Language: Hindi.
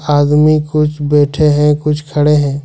आदमी कुछ बैठे हैं कुछ खड़े हैं।